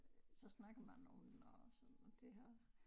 Så snakker man om den og sådan og det har